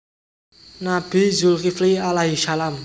Nabi Zulkifli a s